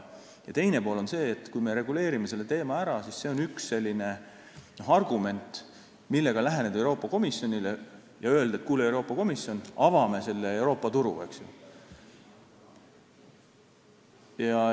Samas, kui me reguleerime selle teema ära, siis see on üks selline argument, millega läheneda Euroopa Komisjonile ja öelda, et avame Euroopa turu.